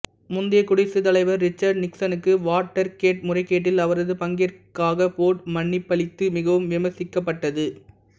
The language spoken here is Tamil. முந்தைய குடியரசுத் தலைவர் ரிச்சர்டு நிக்சனுக்கு வாட்டர்கேட் முறைகேட்டில் அவரது பங்கிற்காக போர்டு மன்னிப்பளித்தது மிகவும் விமர்சிக்கப்பட்டது